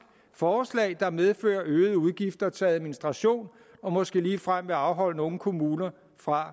forslag der medfører øgede udgifter til administration og måske ligefrem vil afholde nogle kommuner fra